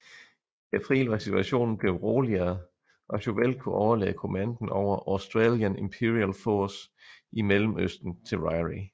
I april var situationen blevet roligere og Chauvel kunne overlade kommandoen over Australian Imperial Force i Mellemøsten til Ryrie